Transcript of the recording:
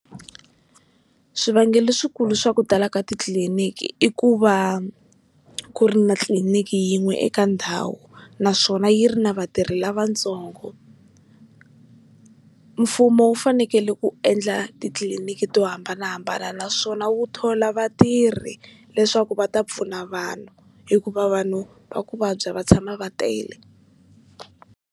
Swivangelo leswikulu swa ku tala ka titliliniki i ku va ku ri na tliliniki yin'we eka ndhawu naswona yi ri na vatirhi lavatsongo. Mfumo wu fanekele ku endla titliliniki to hambanahambana naswona wu thola vatirhi leswaku va ta pfuna vanhu hikuva vanhu va ku vabya va tshama va tele.